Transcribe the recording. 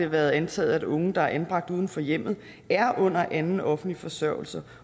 været antaget at unge der er anbragt uden for hjemmet er under anden offentlig forsørgelse